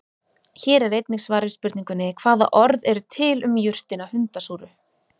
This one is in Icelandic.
Hér er einnig svar við spurningunni: Hvaða orð eru til um jurtina hundasúru?